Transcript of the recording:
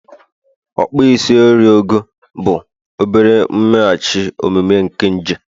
okpo isi enyen ego, bụ obere mmeghachi omume nke nje